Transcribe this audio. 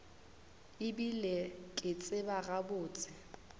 e bile ke tseba gabotse